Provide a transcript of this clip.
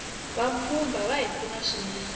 vapfhumba vahi pfuna swinene